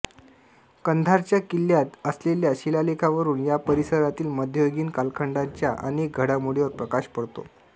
कंधारच्या किल्ल्यात असलेल्या शिलालेखावरून या परिसरातील मध्ययुगीन कालखंडाच्या अनेक घडामोडीवर प्रकाश पडतो